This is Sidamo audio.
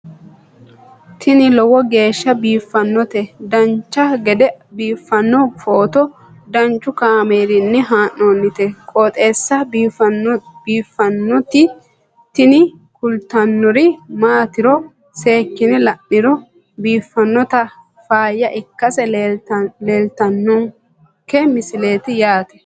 tini lowo geeshsha biiffannoti dancha gede biiffanno footo danchu kaameerinni haa'noonniti qooxeessa biiffannoti tini kultannori maatiro seekkine la'niro biiffannota faayya ikkase kultannoke misileeti yaate